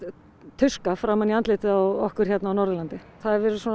tuska framan í andlitið á okkur hérna á Norðurlandi það hefur verið